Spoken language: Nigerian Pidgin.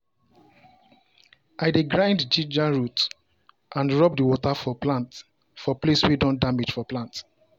i dey grind ginger root and rub the water for water for place wey don damage for plant.